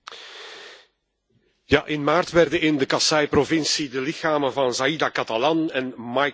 In maart werden in de Kasaï provincie de lichamen van Zaïda Catalan en Michael Sharp teruggevonden.